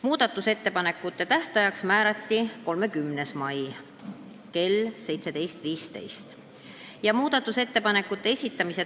Muudatusettepanekute tähtajaks määrati 30. mai kell 17.15.